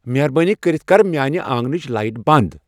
مہربٲنی کٔرِتھ کر میانِہ آنگنچ لایٹہٕ بند ۔